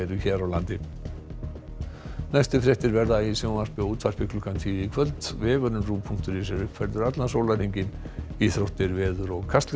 hér á landi næstu fréttir verða í sjónvarpi og útvarpi klukkan tíu í kvöld vefurinn punktur is er uppfærður allan sólarhringinn íþróttir veður og Kastljós